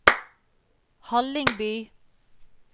Hallingby